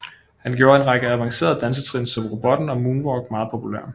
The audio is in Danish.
Han gjorde en række avancerede dansetrin som robotten og moonwalk meget populære